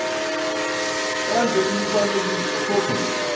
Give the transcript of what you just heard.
enze imifanekiso copies